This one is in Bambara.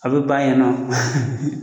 A bɛ ban yen nɔ